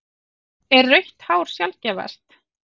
Er rautt hár sjaldgæfast?